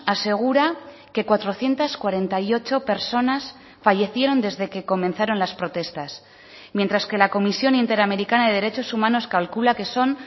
asegura que cuatrocientos cuarenta y ocho personas fallecieron desde que comenzaron las protestas mientras que la comisión interamericana de derechos humanos calcula que son